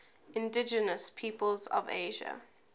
indigenous peoples of asia